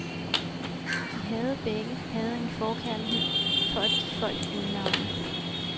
De havde begge havde en forkærlighed for at give folk øgenavne.